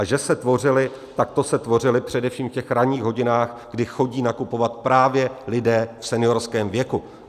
A že se tvořily, tak to se tvořily především v těch ranních hodinách, kdy chodí nakupovat právě lidé v seniorském věku.